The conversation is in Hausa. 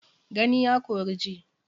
Gani ya kori ji.